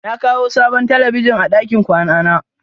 Na kawo sabon talabijin a ɗakin kwana na.